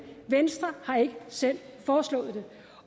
venstre har ikke selv foreslået det